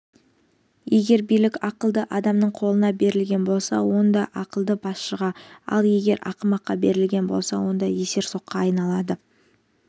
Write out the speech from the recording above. егер билік ақылды адамның қолына берілген болса онда ақылды басшыға ал егер ақымаққа берілген болса онда есерсоққа айналады